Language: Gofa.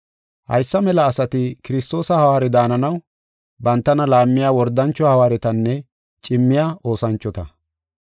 Haysa mela asati Kiristoosa hawaare daananaw bantana laammiya wordancho hawaaretanne cimmiya oosanchota.